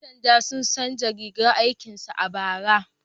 Ƴan sanda sun canza rigar aikin su a bara.